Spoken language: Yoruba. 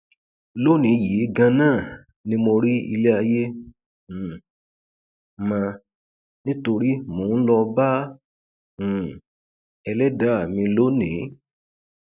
lónìí yìí ganan ni mo rí ilé ayé um mọ nítorí mò ń lọọ bá um ẹlẹdàá mi lónìí